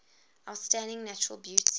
outstanding natural beauty